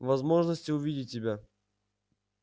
возможности увидеть тебя